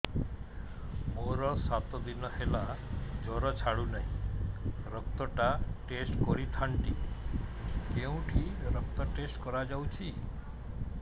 ମୋରୋ ସାତ ଦିନ ହେଲା ଜ୍ଵର ଛାଡୁନାହିଁ ରକ୍ତ ଟା ଟେଷ୍ଟ କରିଥାନ୍ତି କେଉଁଠି ରକ୍ତ ଟେଷ୍ଟ କରା ଯାଉଛି